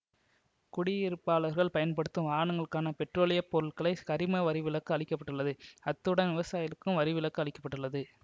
குடியிருப்பாளர்கள் பயன்படுத்தும் வாகனங்களுக்கான பெட்ரோலிய பொருட்களுக்கு சரிம வரி விலக்கு அளிக்க பட்டுள்ளது அத்துடன் விவசாயிகளுக்கும் வரி விலக்கு அளிக்க பட்டுள்ளது